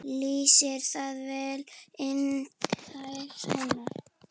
Lýsir það vel innræti hennar.